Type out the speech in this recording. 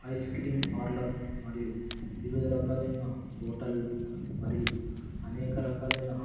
ice cream parlour మరియు వివిధ రకాలైన హోటల్లు మరియు అనేక రకాలైన--